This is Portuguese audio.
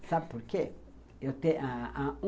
Sabe por quê? eu tenho